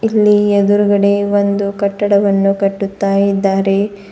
ಅಲ್ಲಿ ಎದ್ರುಗಡೆ ಒಂದು ಕಟ್ಟಡವನ್ನು ಕಟ್ಟುತ್ತಾ ಇದ್ದಾರೆ.